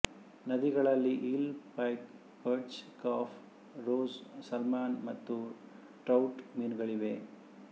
ನದಿಗಳಲ್ಲಿ eel pike perch carp roach salmon ಮತ್ತು trout ಮೀನುಗಳಿವೆ